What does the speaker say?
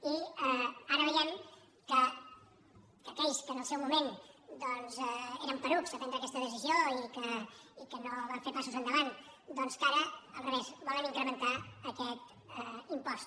i ara veiem que aquells que en el seu moment eren porucs a prendre aquesta decisió i que no van fer passos endavant doncs ara al revés volen incrementar aquest impost